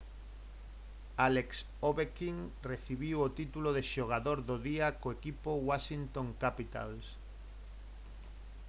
alex ovechkin recibiu o título de xogador do día co equipo washington capitals